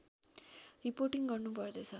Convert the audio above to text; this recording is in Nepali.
रिपोर्टिङ गर्नु पर्दछ